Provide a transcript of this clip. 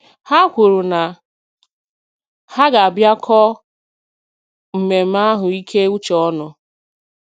Ha kwuru na ha ga- bịa kọ mmemme ahụ ike uche ọnụ